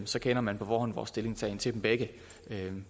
så kender man på forhånd vores stillingtagen til dem begge